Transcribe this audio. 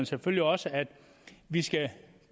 selvfølgelig også at vi skal